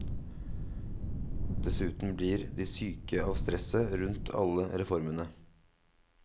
Dessuten blir de syke av stresset rundt alle reformene.